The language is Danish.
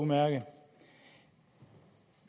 udmærket